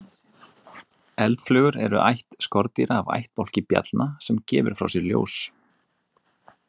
Eldflugur eru ætt skordýra af ættbálki bjallna sem gefur frá sér ljós.